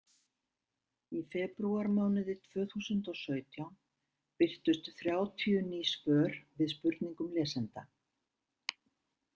Í febrúarmánuði tvö þúsund og og sautján birtust þrjátíu ný svör við spurningum lesenda.